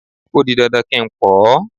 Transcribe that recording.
O di dandan kí n pọ́ ọ.